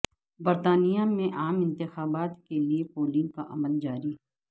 برطانیہ میں عام انتخابات کے لیے پولنگ کا عمل جاری